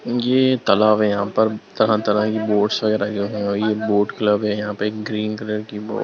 ये तालाब है यहां पर तरह-तरह की बोट्स वगैरा और ये बोट्स क्लब है यहां पर एक ग्रीन कलर की --